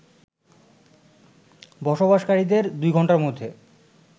বসবাসকারীদের ২ ঘন্টার মধ্যে